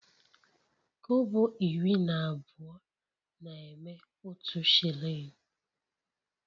Kobo iri na abụọ na-eme otu shilling